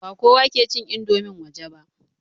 Ba kowa ke cin indomin waje ba.